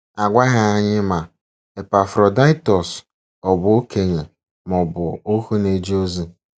A gwaghị anyị ma Epafrọdaịtọs ọ̀ bụ okenye ma ọ bụ ohu na-eje ozi.